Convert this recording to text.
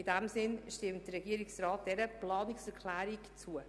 In diesem Sinne stimmt er dieser Planungserklärung zu.